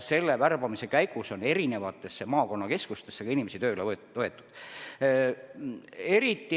Sellise värbamise käigus ongi eri maakonnakeskustesse inimesi tööle võetud.